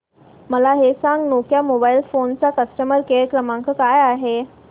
मला हे सांग नोकिया मोबाईल फोन्स चा कस्टमर केअर क्रमांक काय आहे